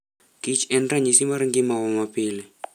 Kich en ranyisi mar ngima wa mapile.